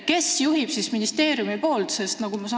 Kes seda siis nüüd juhib ministeeriumi poolt vaadates?